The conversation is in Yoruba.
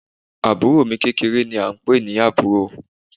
Àbúro mi kékeré ni a n pè ní Àbúro